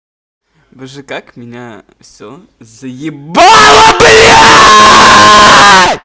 боже как меня всё заебало